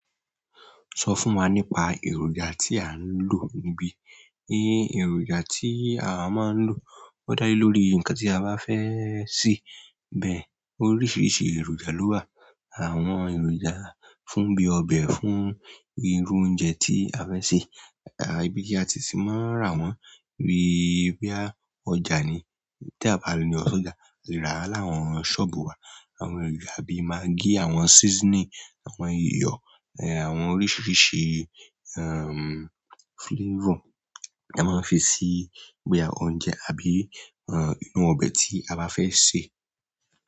Sọ fún wa nípa èròjà tí a ń lò níbí. Èròjà tí awa máa ń lò ó dá lé lórí ǹkan tí a bá fẹ́ sè. Bẹ́ẹ̀, oríṣiríṣi èròjà ló wà. Àwọn èròjà fún bíi ọbẹ̀, fún irú oúnjẹ tí a fẹ́ sè. Ibí tí á tìì sí máa rà wọ́n bí boyà ọjà ni. Bí à bá le lọ sí ọjà, a lè rà á láwọn ṣọ́ọ̀bù wà. Àwọn èròjà bi magí, àwọn seasoning àwọn iyo, àwọn oríṣiríṣi flavour. A máa ń fi sè boya oúnjẹ àbí inú ọbẹ̀ tí a bá fẹ́ sè.